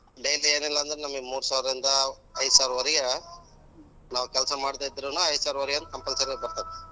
daily ಎನಿಲ್ಲಾ ಅಂದ್ರು ನಮ್ಗೆ ಮೂರ್ಸಾವ್ರ ಇಂದ ಐದ್ ಸಾವ್ರದವರೆಗೆ ನಾವ್ ಕೆಲ್ಸ ಮಾಡ್ದೆ ಇದ್ರುನು ಐದ್ ಸಾವ್ರದವರೆಗೆ compulsory ಯಾಗ್ ಬರ್ತೈತೆ.